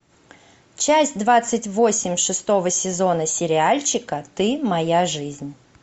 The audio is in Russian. часть двадцать восемь шестого сезона сериальчика ты моя жизнь